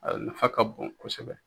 A nafa ka bon kosɛbɛ.